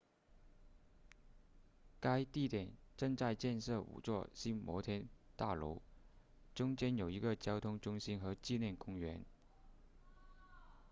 该地点正在建设五座新摩天大楼中间有一个交通中心和纪念公园